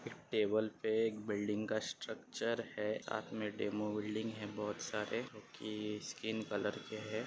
Table पे एक building का स्ट्रक्चर है साथ में डेमो बिल्डिंग है बहुत सारे जोकि स्किन कलर के है।